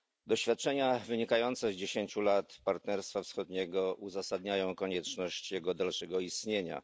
Doświadczenia wynikające z dziesięciu lat Partnerstwa Wschodniego uzasadniają konieczność jego dalszego istnienia.